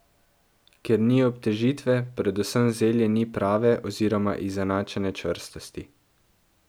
Ker ni obtežitve, predvsem zelje ni prave oziroma izenačene čvrstosti.